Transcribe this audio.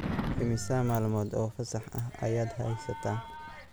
Immisa maalmood oo fasax ah ayaad haysataa?